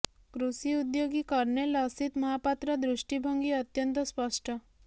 କୃଷି ଉଦ୍ୟୋଗୀ କର୍ଣ୍ଣେଲ ଅସିତ ମହାପାତ୍ର ଦୃଷ୍ଟିଭଙ୍ଗୀ ଅତ୍ୟନ୍ତ ସ୍ପଷ୍ଟ